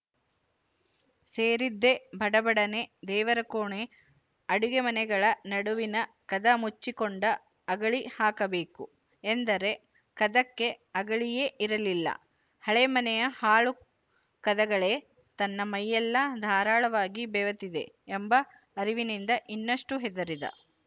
ಸೇರಿದ್ದೇ ಭಡಭಡನೆ ದೇವರಕೋಣೆ ಅಡುಗೆ ಮನೆಗಳ ನಡುವಿನ ಕದ ಮುಚ್ಚಿಕೊಂಡ ಅಗಳಿ ಹಾಕಬೇಕು ಎಂದರೆ ಕದಕ್ಕೆ ಅಗಳಿಯೇ ಇರಲಿಲ್ಲ ಹಳೆ ಮನೆಯ ಹಾಳು ಕದಗಳೇ ತನ್ನ ಮೈಯೆಲ್ಲ ಧಾರಾಳವಾಗಿ ಬೆವೆತಿದೆ ಎಂಬ ಅರಿವಿನಿಂದ ಇನ್ನಷ್ಟು ಹೆದರಿದ